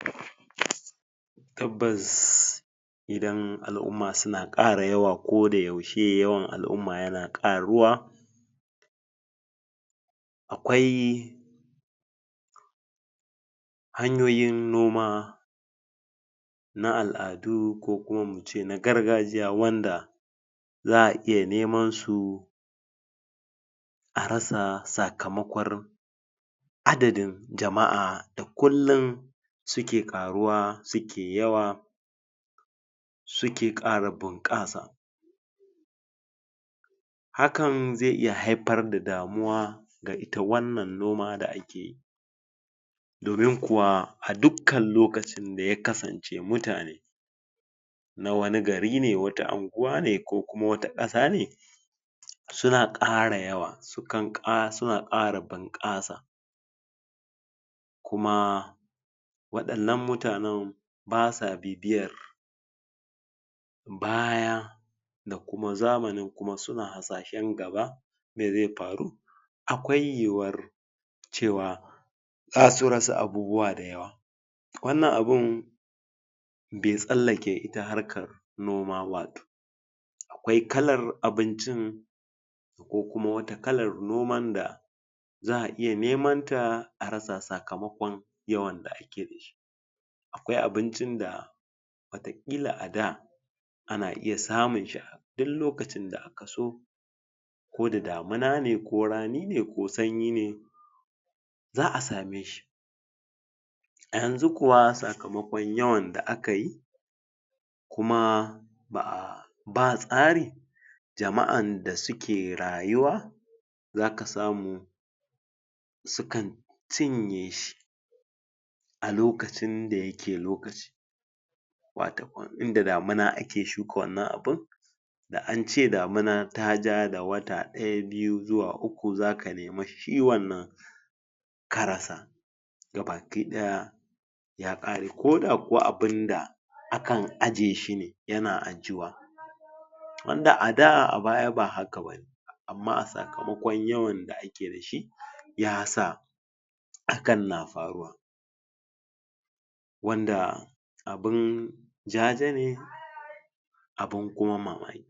tabbas idan al'umma suna ƙara yawa ko da yaushe yawan al'umma ya na ƙaruwa aƙwai hanyoyin nomA na al'adu ko kuma muce na gargajiya wanda za a iya nemansu a rasa sakamaƙon adadin jama'a da kullin suke ƙaruwa suke yawa suke ƙara bunƙasa hakan zai iya haifar da damuwa da ga ita wannan noma da akeyi domin kuwa a dukkan lokacin da ya kasance mutane wani gari ne wata anguwace ko kuma wata ƙasa ne suna ƙara yawa suna ƙara bunƙasa kuma waɗannan mutanan basa bibiyar baya da kuma zamanin kuma suna hasashan gaba me zai faru aƙwai yuwuwar cewa zasu rasa abubua da yawa wannan abun be tsallake ita harkar nima ba aƙwai kalar abincin ko kuma wata kalar noman da za a iya nemanta a rasa sakamaƙon yawan da ake dashi aƙwai abincin da wataƙila ada ana iya samunshi a dun lokacin da akaso ko da damuna ne ko rani ne ko sanyi ne za a sameshi yanzu kuwa sakamaƙon yawan da akayi kuma ba tsari jama'an da suke rayuwa zaka samu sukan cinyeshi a lokacin da yake lokaci watakam in da damuna ake shuka wannan abun da ance damuna taja da wata ɗaya biyu zuwa uku zaka nemi shi wannan ka rasa gaba ki ɗaya ya ƙare ko da kuwa abunda akan ajjeshi ne yana ajjuwa wanda ada a baya ba haka bane amma a sakamaƙon yawan da ake dashi yasa hakan na faruwa wanda abun jajene abun kuma mamaki